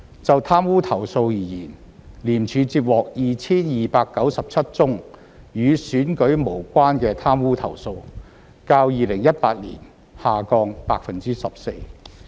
就貪污投訴而言，廉署接獲 2,297 宗與選舉無關的貪污投訴，較2018年下降 14%。